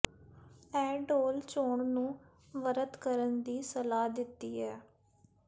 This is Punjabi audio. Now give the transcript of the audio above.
ਇਹ ਢੋਲ ਚੋਣ ਨੂੰ ਵਰਤ ਕਰਨ ਦੀ ਸਲਾਹ ਦਿੱਤੀ ਹੈ